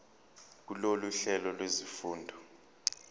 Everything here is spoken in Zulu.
kulolu hlelo lwezifundo